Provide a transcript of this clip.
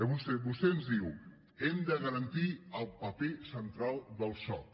vostè ens diu hem de garantir el paper central del soc